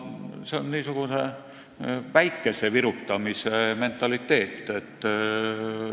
See on niisuguse väikese virutamise mentaliteet.